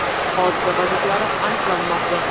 Hodisa vaziyatlari aniqlanmoqda.